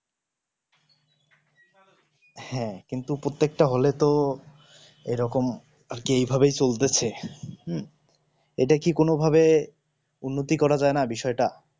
হ্যাঁ প্রত্যেকটা হলে তো এরকম আরকি এই রকমিই চলবে হম ইটা কি কোনো ভাবে উন্নতি করা যায়না বিষয়ে টা